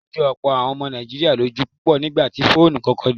Ó jọ ọ̀pọ̀ àwọn ọmọ Nàìjíríà lójú púpọ̀ nígbà tí fóònù kọ́kọ́ dé.